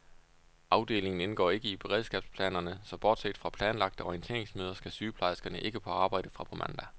Afdelingen indgår ikke i beredskabsplanerne, så bortset fra planlagte orienteringsmøder skal sygeplejerskerne ikke på arbejde fra på mandag.